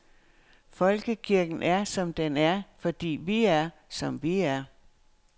Folkekirken er, som den er, fordi vi er, som vi er.